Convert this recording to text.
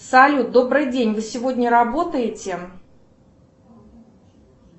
салют добрый день вы сегодня работаете